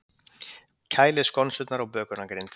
Kælið skonsurnar á bökunargrind.